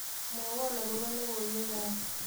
Mwowo akobo logoiwekab